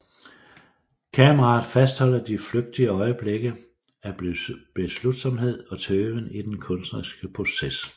Kameraet fastholder de flygtige øjeblikke af beslutsomhed og tøven i den kunstneriske proces